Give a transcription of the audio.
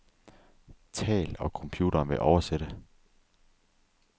Tal, og computeren vil oversætte.